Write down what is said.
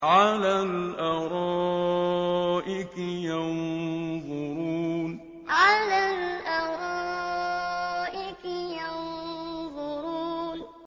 عَلَى الْأَرَائِكِ يَنظُرُونَ عَلَى الْأَرَائِكِ يَنظُرُونَ